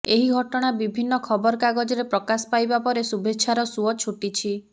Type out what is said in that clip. ଏହି ଘଟଣା ବିଭିନ୍ନ ଖବର କାଗଜରେ ପ୍ରକାଶ ପାଇବା ପରେ ଶୁଭେଚ୍ଛାର ସୁଅ ଛୁଟିଛି